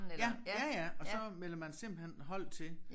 Ja ja ja og så melder man simpelthen hold til